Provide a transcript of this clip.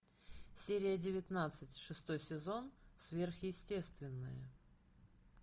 серия девятнадцать шестой сезон сверхъестественное